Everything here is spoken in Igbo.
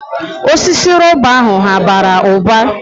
Osisi rọba ahụ hà bara ụba?